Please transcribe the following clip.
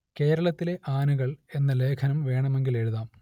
കേരളത്തിലെ ആനകൾ എന്ന ലേഖനം വേണമെങ്കിൽ എഴുതാം